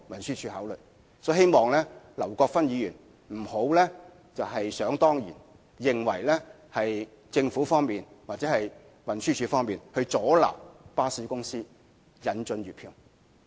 所以，我希望劉國勳議員不要想當然認為政府或運輸署阻撓巴士公司引進月票計劃。